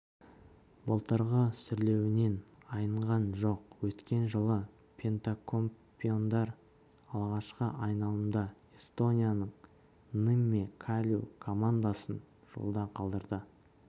былтырғы сүрлеуінен айныған жоқ өткен жылы пентакампеондар алғашқы айналымда эстонияның нымме калью командасын жолда қалдыра